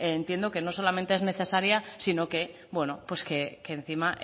entiendo que no solamente es necesaria sino que pues que encima